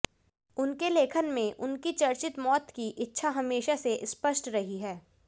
उनके लेखन में उनकी चर्चित मौत की इच्छा हमेशा से स्पष्ट रही है